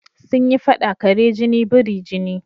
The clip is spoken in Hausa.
Sun yi faɗa "kare jini biri jini"